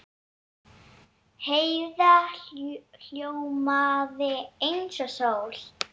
Heiða ljómaði eins og sól.